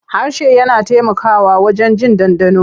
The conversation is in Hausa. Harshe yana taimakawa wajen jin ɗanɗano.